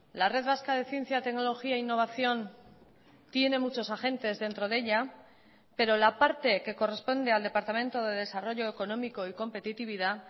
la red vasca de ciencia tecnología e innovación tiene muchos agentes dentro de ella pero la parte que corresponde al departamento de desarrollo económico y competitividad